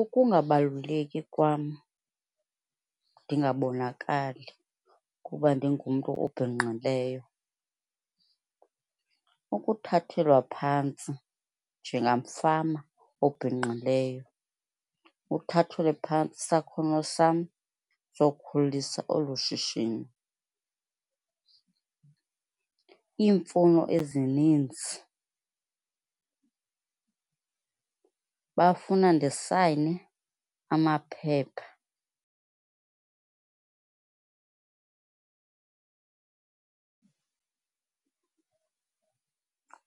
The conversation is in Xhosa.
Ukungabaluleki kwam ndingabonakali kuba ndingumntu obhinqileyo, ukuthathelwa phantsi njengamfama obhinqileyo. Uthathelwe phantsi isakhono sam zokukhulisa olu shishino , iimfuno ezininzi, bafuna ndisayine amaphepha